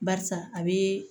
Barisa a bɛ